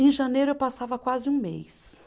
Em janeiro eu passava quase um mês.